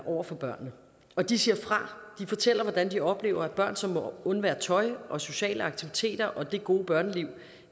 over for børnene og de siger fra de fortæller hvordan de oplever børn som må undvære tøj og sociale aktiviteter og det gode børneliv